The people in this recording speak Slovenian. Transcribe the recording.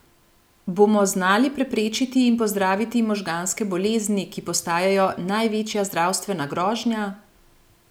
Bomo znali preprečiti in pozdraviti možganske bolezni, ki postajajo največja zdravstvena grožnja?